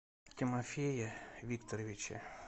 тимофее викторовиче